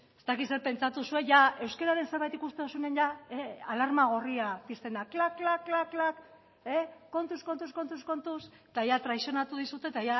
ez dakit zer pentsatu zuek euskararen zerbait ikusten duzuenean jada alarma gorria pizten da kla kla kla kla kontuz kontuz kontuz eta ja traizionatu dizute eta